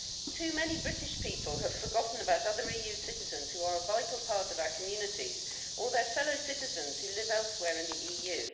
Too many British people have forgotten about other EU citizens who are a vital part of our communities, or their fellow citizens who live elsewhere in the EU.